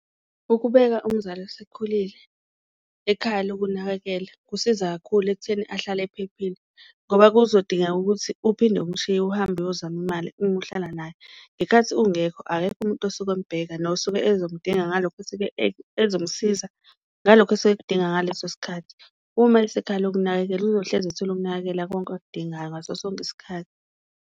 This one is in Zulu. Ukubeka umzali osekhulile ekhaya lokunakekela kusiza kakhulu ekutheni ahlale ephephile, ngoba kuzodingeka ukuthi uphinde umshiye uhambe uyozama imali uma uhlala naye. Ngenkathi ungekho akekho umuntu osuke embheka nosuke ezomdinga ngalokho ezomsiza ngalokho esuke ekudinga ngaleso sikhathi. Uma esekhaya lokunakekelwa uyohlezi ethola ukunakekela konke okudingayo ngaso sonke isikhathi.